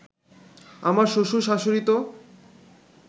আমার শ্বশুর-শাশুড়ি তো